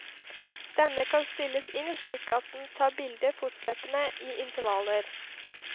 Denne kan stilles inn slik at den tar bilder fortløpende i intervaller.